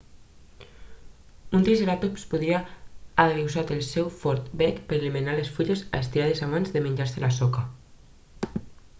un triceratop podria haver usat el seu fort bec per a eliminar les fulles a estirades abans de menjar-se la soca